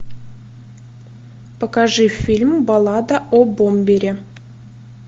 покажи фильм баллада о бомбере